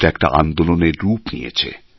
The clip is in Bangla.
এটা একটা আন্দোলনের রূপ নিয়েছে